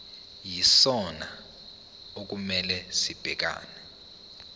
yisona okumele sibhekane